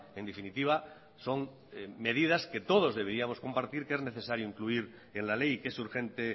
en definitiva son medidas que todos deberíamos compartir que es necesario incluir en la ley que es urgente